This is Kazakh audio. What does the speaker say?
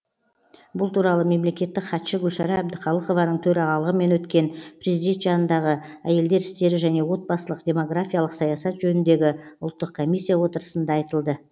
бұл туралы мемлекеттік хатшы гүлшара әбдіқалықованың төрағалығымен өткен президент жанындағы әйелдер істері және отбасылық демографиялық саясат жөніндегі ұлттық комиссия отырысында айтылды